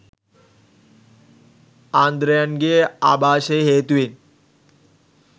ආන්ද්‍රයන්ගේ ආභාෂය හේතුවෙන්